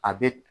A bɛ